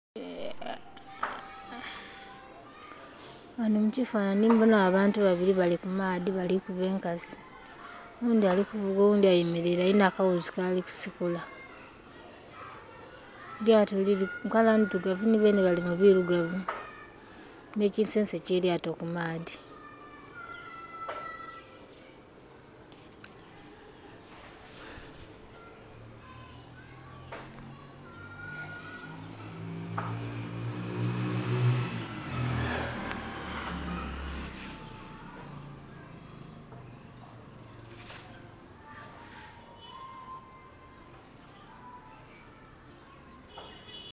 Gghanho mu kifanhanhi mbonhagho abantu babili bali ku maadhi bali kuba enkasi oghundi ali kuvuga oghudhi ayemelaile ali na akaghuzi kali kusikula. Elyaato lili mu kala ndhirugavu nhi beenhe bali mu kala ndhilugavu ne kinsense kye kyato ku maadhi.